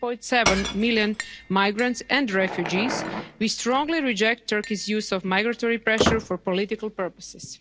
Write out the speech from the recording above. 3.7 million migrants and refugees, we strongly reject Turkey's use of migratory pressure for political purposes.